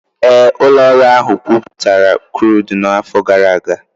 Ee, ụlọ ọrụ ahụ gwupụtara krudụ n'afọ gara aga.